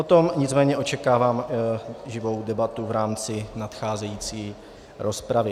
O tom nicméně očekávám živou debatu v rámci nadcházející rozpravy.